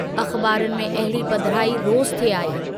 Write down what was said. अख़बारुनि में अहिड़ी पधिराई रोज़ थे आई।